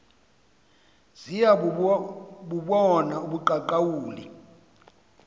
ziya bubona ubuqaqawuli